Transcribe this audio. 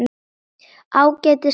Ágætis blanda.